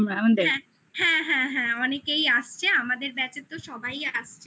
হ্যাঁ হ্যাঁ অনেকেই আসছে আমাদের batch এর তো সবাই আসছে